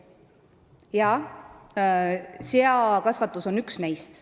Jah, seakasvatus on üks neist.